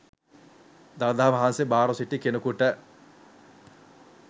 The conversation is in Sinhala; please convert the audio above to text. දළදා වහන්සේ භාරව සිටි කෙනෙකුට